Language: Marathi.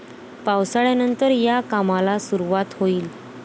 पावसाळ्यानंतर या कामाला सुरूवात होईल.